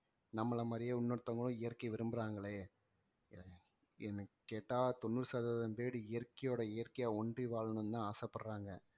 நம்மள மாதிரியே இன்னொருத்தவங்களும் இயற்கையை விரும்புறாங்களே என்னை கேட்டா தொண்ணூறு சதவீதம் பேரு இயற்கையோட இயற்கையா ஒன்றி வாழணும்னுதான் ஆசைப்படுறாங்க